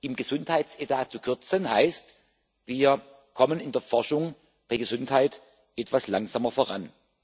Im Gesundheitsetat zu kürzen, heißt Wir kommen in der Forschung bei Gesundheit etwas langsamer voran.